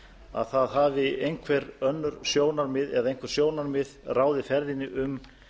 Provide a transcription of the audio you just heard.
að það hafi einhver önnur sjónarmið eða einhver sjónarmið ráðið ferðinni um